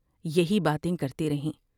یہی باتیں کرتی رہیں ۔